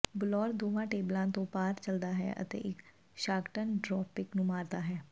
ਬਲੌਰ ਦੋਵਾਂ ਟੇਬਲਾਂ ਤੋਂ ਪਾਰ ਚਲਦਾ ਹੈ ਅਤੇ ਇੱਕ ਸ਼ਾਟਗਨ ਡ੍ਰੌਪਿਕ ਨੂੰ ਮਾਰਦਾ ਹੈ